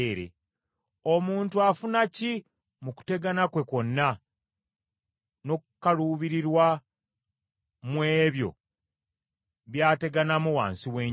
Omuntu afuna ki mu kutegana kwe kwonna n’okukaluubirirwa mu ebyo by’ateganamu wansi w’enjuba?